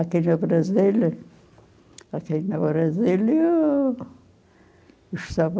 Aqui no Brasil, aqui no Brasil eu estava